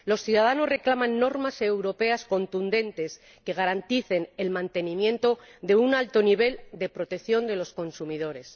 Los ciudadanos reclaman normas europeas contundentes que garanticen el mantenimiento de un alto nivel de protección de los consumidores.